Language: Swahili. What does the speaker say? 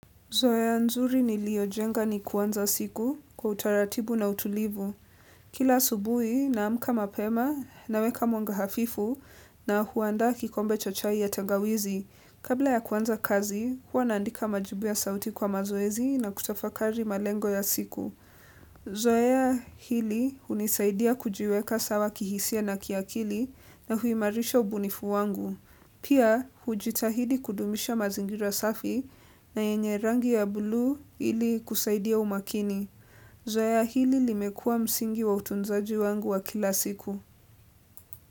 Zoea nzuri ni lio jenga ni kuanza siku kwa utaratibu na utulivu. Kila asubuhi na amka mapema, naweka mwanga hafifu na huanda kikombe cha chai ya tangawizi. Kabla ya kuanza kazi, huwa naandika majibu ya sauti kwa mazoezi na kutafakari malengo ya siku. Zoea hili unisaidia kujiweka sawa kihisia na kiakili na huimarisha ubunifu wangu. Pia, hujitahidi kudumisha mazingira safi na yenye rangi ya bluu ili kusaidia umakini. Zoea hili limekua msingi wa utunzaji wangu wa kila siku.